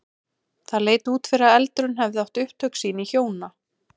Það leit út fyrir að eldurinn hefði átt upptök sín í hjóna